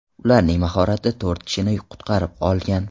Ularning mahorati to‘rt kishini qutqarib qolgan.